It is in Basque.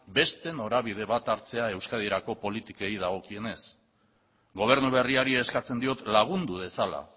beste norabide bat hartzea euskadirako politikei dagokienez gobernu berriari eskatzen diot lagundu dezala